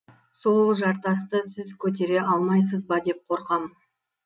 сол жартасты сіз көтере алмайсыз ба деп қорқам